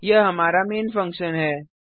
यह हमारा main function है